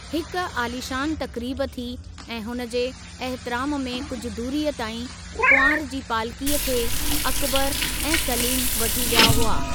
हिकु आलीशानु तक़रीबु थी ऐं हुन जे एहतरामु में कुझु दूरीअ ताईं कुंवार जी पालकीअ खे अकबर ऐं सलीम वठी विया हुआ।